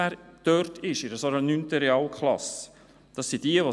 Mich stört vor allem Folgendes: